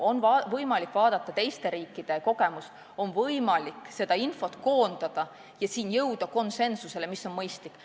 On võimalik uurida teiste riikide kogemusi, on võimalik seda infot koondada ja jõuda konsensusele, mis on mõistlik.